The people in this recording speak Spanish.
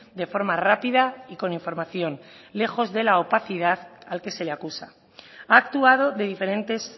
de forma rápida y con información lejos de la opacidad al que se le acusa ha actuado de diferentes